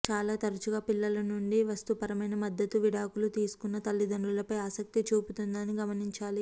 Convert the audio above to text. చాలా తరచుగా పిల్లల నుండి వస్తుపరమైన మద్దతు విడాకులు తీసుకున్న తల్లిదండ్రులపై ఆసక్తి చూపుతుందని గమనించాలి